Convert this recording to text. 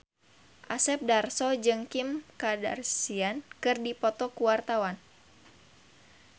Asep Darso jeung Kim Kardashian keur dipoto ku wartawan